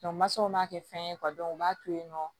mansaw man kɛ fɛn ye u b'a to yen nɔ